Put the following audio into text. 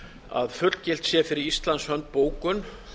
að fullgilt sé fyrir íslands hönd bókun